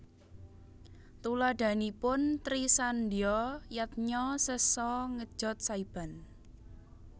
Tuladhanipun Trisandya Yadnya Sesa Ngejot Saiban